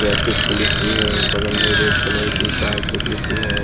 Traffic police भी है बगल में रेड कलर की कार छोटी सी है।